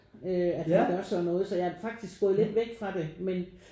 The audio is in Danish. Øh at han gør sådan noget så jeg er faktisk gået lidt væk fra det men